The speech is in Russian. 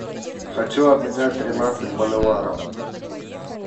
хочу обменять тринадцать боливаров